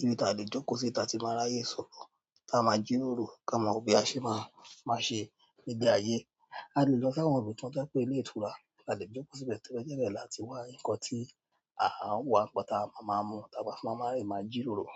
ibi tí a lè jókòó si, tí a ti máa ráyè sọ̀rọ̀, tí a máa jíròrò, kí a ma wo bí a ṣe máa máa ṣe gbégbé ayé. A lè lọ sí àwọn ibi kan to je pe ilé ìtura, alẹ́ jókòó síbẹ̀ toba jebe láti wà nkan tí à wá nkan tí a máa máa mú tà wa máa fi máa máa jíròrò.